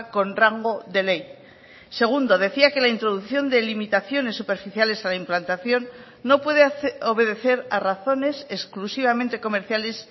con rango de ley segundo decía que la introducción de limitaciones superficiales a la implantación no puede obedecer a razones exclusivamente comerciales